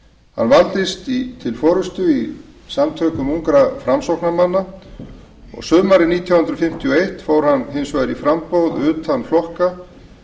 hann valdist til forustu í samtökum ungra framsóknarmanna sumarið nítján hundruð fimmtíu og eitt fór hann hins vegar í framboð utan flokka